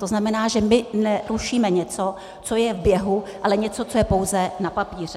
To znamená, že my nerušíme něco, co je v běhu, ale něco, co je pouze na papíře.